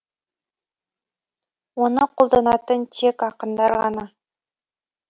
оны қолданатын тек ақындар ғана